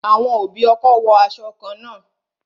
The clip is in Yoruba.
Àwọn òbí ọkọ wo aṣọ kan náà